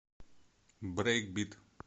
брейкбит